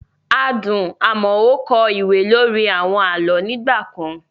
Adùn Amoo kọ ìwé lórí àwọn àlọ́ nígbà kan.